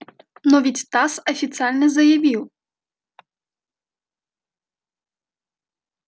но ведь тасс официально заявил